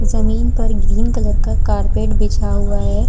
जमीन पर green colour का कार्पेट बिछा हुआ हैं।